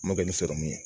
N ma kɛ ni sɔrɔmu ye